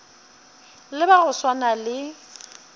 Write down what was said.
le ba go swana le